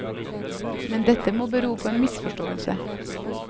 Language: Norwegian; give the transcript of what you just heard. Men dette må bero på en misforståelse.